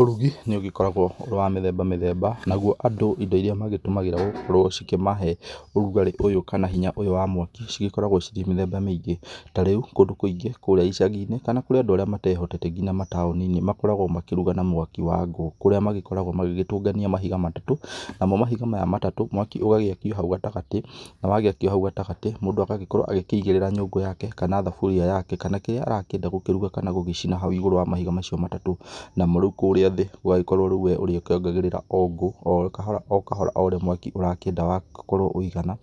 Ũrugi nĩ ũgĩkoragwo ũrĩ wa mĩthemba mĩthemba, nagũo andũ indo ĩrĩa magĩtũmagĩra gũkorwo cĩkĩmahe ũrũgarĩ ũyũ kana hinya ũyũ wa mwaki cigĩkoragwo cirĩ mĩthemba mĩingĩ, tarĩu kũndũ kũingĩ kũrĩa icagi-inĩ kana kũrĩ andũ arĩa matehotete nginya mataoni-inĩ makoragwo makĩrũga na mwaki wa ngũ ,kũrĩa magĩkoragwo magĩtũngania mahiga matato namo mahiga maya matatu mwaki ũgagĩakio hau gatagatĩ na wagĩakĩo hau gatagatĩ mũndũ agagĩkorwo akĩigĩrĩra nyũngũ yake kana thaburia yake kana kĩrĩa arakĩenda kũruga kana gũcina hau ĩgũro wa mahiga macio matatũ ,namo kũríĩ thĩ ũgagĩkorwo rĩu we ũrĩkĩongagĩrĩra o ngũ o kahora o kahora o ũraĩ mwaki ũrakĩenda ũkorwo wĩigana